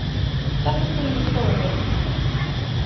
Þetta skulum við skoða betur.